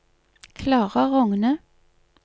Klara Rogne